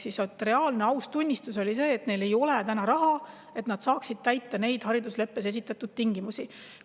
See oli aus ülestunnistus, et neil ei ole täna raha selleks, et neid haridusleppes esitatud tingimusi täita.